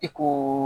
I ko